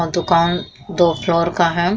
और दुकान दो फ्लोर का है।